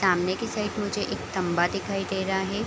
सामने की साइड मुझे एक खंभा दिखाई दे रहा है।